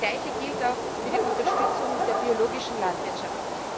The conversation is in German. Das Gleiche gilt auch für die Unterstützung der biologischen Landwirtschaft.